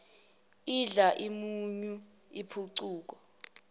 idla umunyu impucuko